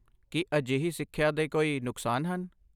ਕੀ ਅਜਿਹੀ ਸਿੱਖਿਆ ਦੇ ਕੋਈ ਨੁਕਸਾਨ ਹਨ?